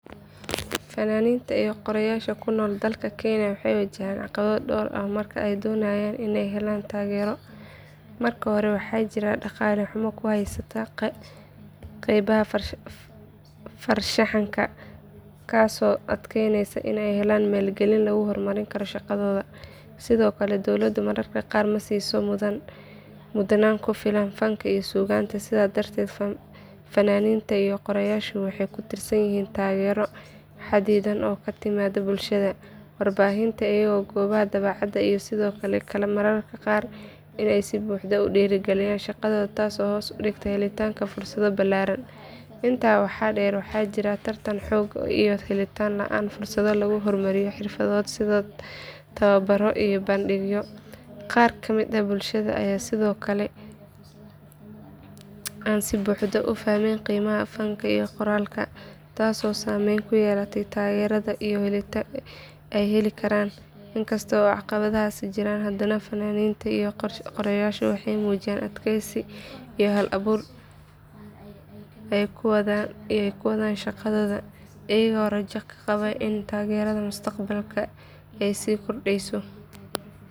Fannaaniinta iyo qoraayaasha ku nool dalka kenya waxay wajahaan caqabado dhowr ah marka ay doonayaan inay helaan taageero. Marka hore waxaa jirta dhaqaale xumo ku haysa qaybaha farshaxanka taasoo adkeynaysa in la helo maalgelin lagu horumariyo shaqadooda. Sidoo kale dowladdu mararka qaar ma siiso mudnaan ku filan fanka iyo suugaanta sidaa darteed fannaaniinta iyo qoraayaashu waxay ku tiirsan yihiin taageero xadidan oo ka timaadda bulshada. Warbaahinta iyo goobaha daabacaadda ayaa sidoo kale mararka qaar aan si buuxda u dhiirrigelin shaqadooda taasoo hoos u dhigta helitaanka fursado ballaaran. Intaa waxaa dheer waxaa jira tartan xoogan iyo helitaan la’aan fursado lagu horumariyo xirfadooda sida tababaro iyo bandhigyo. Qaar ka mid ah bulshada ayaa sidoo kale aan si buuxda u fahmin qiimaha fanka iyo qoraalka taasoo saameyn ku yeelata taageerada ay heli karaan. Inkasta oo caqabadahaasi jiraan haddana fannaaniinta iyo qoraayaashu waxay muujiyaan adkeysi iyo hal abuur ay ku wadaan shaqadooda iyaga oo rajo ka qaba in taageerada mustaqbalka ay sii kordhayso.